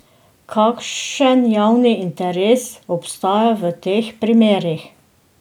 Kakšen javni interes obstaja v teh primerih?